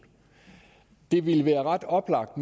det ville nu være ret oplagt